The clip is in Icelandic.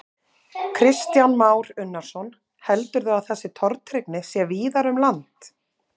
Kristján Már Unnarsson: Heldurðu að þessi tortryggni sé víðar um land?